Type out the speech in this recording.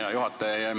Hea juhataja!